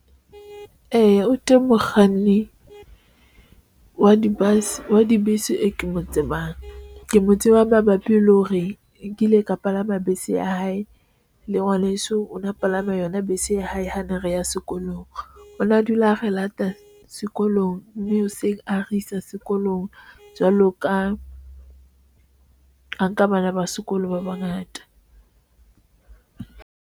Eya, o teng mokganni wa dibese eo ke motseba ke mo tsebang. Mabapi le hore nkile ka palama bese ya hae le ngwaneso, o na palama yona se hae hantle. Re ya sekolong hona dula re lata sekolong mme hoseng a re isa sekolong. Jwalo ka ho nka bana ba sekolo, ba bangata.